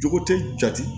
Jogo tɛ jate